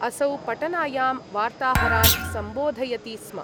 असौ पटनायां वार्ताहरान् सम्बोधयति स्म।